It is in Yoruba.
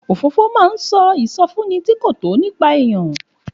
Òfófó máa ń sọ ìsọfúnni tí kò tọ́ nípa èèyàn.